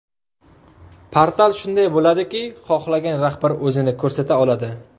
Portal shunday bo‘ladiki, xohlagan rahbar o‘zini ko‘rsata oladi.